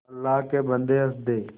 अल्लाह के बन्दे हंस दे